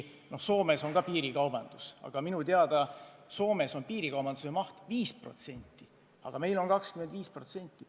Soomes on ka piirikaubandus, aga minu teada Soomes on piirikaubanduse maht 5%, aga meil on 25%.